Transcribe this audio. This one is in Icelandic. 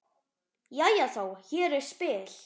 Jæja þá, hér er spil.